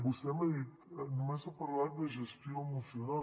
vostè m’ha dit només ha parlat de gestió emocional